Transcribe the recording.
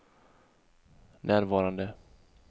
närvarande